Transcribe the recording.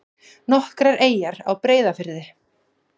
Nokkrar eyjar á Breiðafirði.